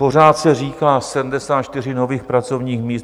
Pořád se říká 74 nových pracovních míst.